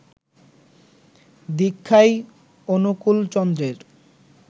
দীক্ষাই অনুকূলচন্দ্রের